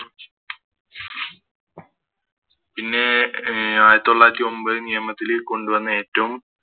പിന്നെ അഹ് ആയിരത്തി തൊള്ളായിരത്തി ഒമ്പത് നിയമത്തില് കൊണ്ടു വന്ന ഏറ്റോം